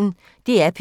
DR P1